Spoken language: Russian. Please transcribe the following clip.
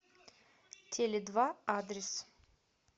теледва адрес